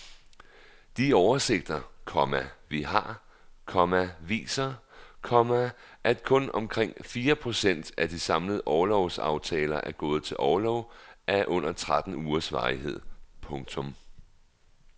De oversigter, komma vi har, komma viser, komma at kun omkring fire procent af de samlede orlovsaftaler er gået til orlov af under tretten ugers varighed. punktum